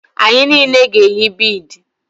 Anyị niile ga-eyi bidi